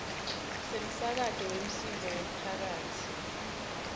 semsakato wemsindvo wemphakatsi